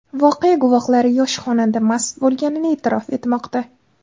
Voqea guvohlari yosh xonanda mast bo‘lganini e’tirof etmoqda.